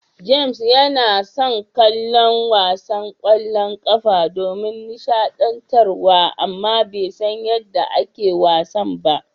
James yana son kallon wasan ƙwallon ƙafa don nishaɗantar wa amma bai san yadda ake wasan ba.